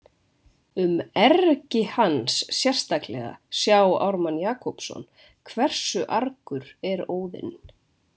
Um „ergi“ hans sérstaklega, sjá Ármann Jakobsson, Hversu argur er Óðinn?